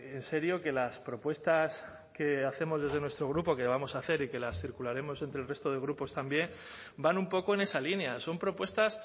en serio que las propuestas que hacemos desde nuestro grupo que vamos a hacer y que las circularemos entre el resto de grupos también van un poco en esa línea son propuestas